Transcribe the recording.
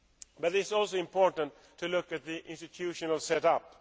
But it is also important to look at the institutional set up.